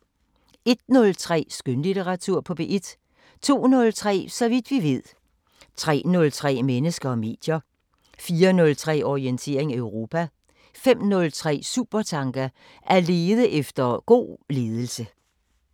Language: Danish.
01:03: Skønlitteratur på P1 02:03: Så vidt vi ved 03:03: Mennesker og medier 04:03: Orientering Europa 05:03: Supertanker: At lede efter god ledelse